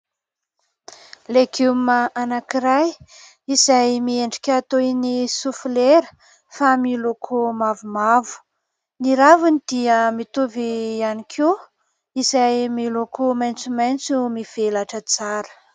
Legioma anankiray izay miendrika tohiny sofilera fa miloko mavomavo, ny raviny dia mitovy ihany koa izay miloko maintsomaintso mivelatra tsara.